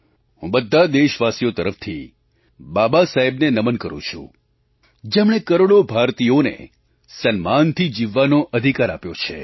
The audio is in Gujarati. હું બધા દેશવાસીઓની તરફથી બાબાસાહેબને નમન કરું છું જેમણે કરોડો ભારતીયોને સન્માનથી જીવવાનો અધિકાર આપ્યો છે